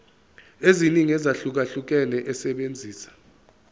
eziningi ezahlukahlukene esebenzisa